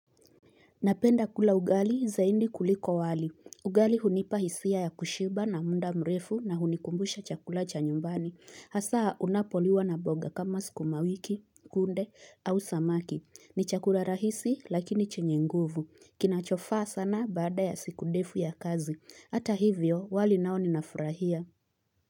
Napenda kula ugali zaidi kuliko wali. Ugali hunipa hisia ya kushiba na muda mrefu na hunikumbusha chakula cha nyumbani. Hasa unapoliwa na mboga kama sukumawiki, kunde au samaki. Ni chakula rahisi lakini chenye nguvu. Kinachofaa sana baada ya siku ndefu ya kazi. Hata hivyo wali nao ninafurahia.